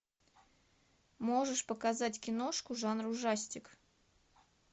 можешь показать киношку жанр ужастик